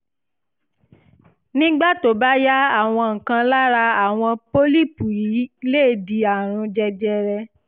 nígbà tó bá yá àwọn kan lára àwọn pọ́lípù yìí lè di àrùn jẹjẹrẹ